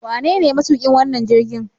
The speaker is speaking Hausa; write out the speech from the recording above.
Wanene matuƙin wannan jirgin?